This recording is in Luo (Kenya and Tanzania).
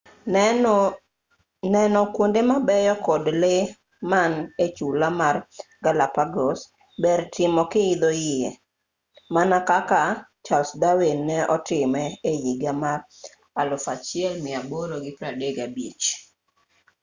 neno kuonde mabeyo kod lee man echula mar galapagos ber timo kiidho yie mana kaka charles darwin ne otime ehiga mar 1835